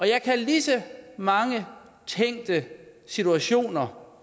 jeg kan lige så mange tænkte situationer